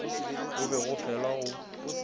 go be go felwa go